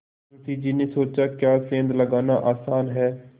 मुंशी जी ने सोचाक्या सेंध लगाना आसान है